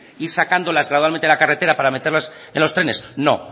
decir ir sacándolas gradualmente a la carretera para meterlas en los trenes no